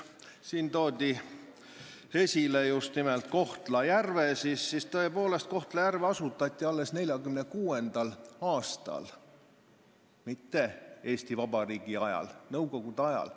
Siin toodi esile just nimelt Kohtla-Järvet, aga Kohtla-Järve asutati alles 1946. aastal, mitte Eesti Vabariigi ajal, see asutati nõukogude ajal.